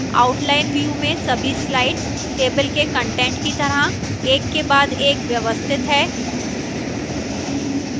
outline view में सभी slides table के कंटेंट की तरह एक के बाद एक व्यवस्थित हैं